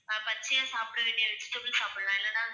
பச்சையா சாப்பிட வேண்டிய vegetables சாப்பிடலாம், இல்லன்னா